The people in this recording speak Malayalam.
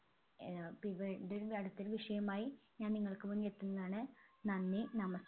ഏർ ഇതൊരു അടുത്തൊരു വിഷയവുമായി ഞാൻ നിങ്ങൾക്ക് മുന്നിൽ എത്തുന്നതാണ് നന്ദി നമസ്